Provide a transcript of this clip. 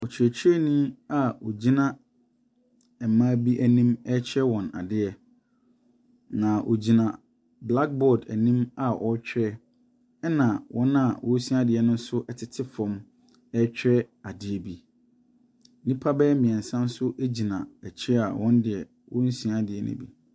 Ɔkyerɛkyerɛnii a ɔgyina mmaa bi ɛnim ɛkyerɛ wɔn adeɛ. Na ɔgyina black board anim a ɔrekyerɛ ɛna wɔn a ɔresua deɛ no ɛtete fam ɛtwerɛ adeɛ bi. Nnipa bɛyɛ mmiɛnsa bi ɛnso gyina akyire a wɔnnsua adeɛ no bi.